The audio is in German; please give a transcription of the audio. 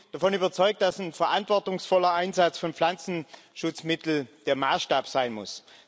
Ich bin davon überzeugt, dass ein verantwortungsvoller Einsatz von Pflanzenschutzmitteln der Maßstab sein muss.